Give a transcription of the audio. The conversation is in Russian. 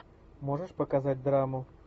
можешь показать драму